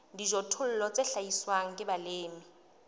dijothollo tse hlahiswang ke balemi